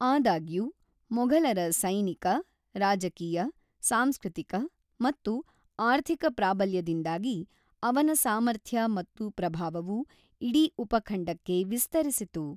ಆದಾಗ್ಯೂ, ಮೊಘಲರ ಸೈನಿಕ, ರಾಜಕೀಯ, ಸಾಂಸ್ಕೃತಿಕ ಮತ್ತು ಆರ್ಥಿಕ ಪ್ರಾಬಲ್ಯದಿಂದಾಗಿ ಅವನ ಸಾಮರ್ಥ್ಯ ಮತ್ತು ಪ್ರಭಾವವು ಇಡೀ ಉಪಖಂಡಕ್ಕೆ ವಿಸ್ತರಿಸಿತು.